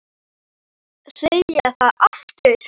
Þarf ég að segja það aftur?